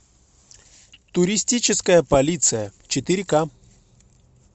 туристическая полиция четыре ка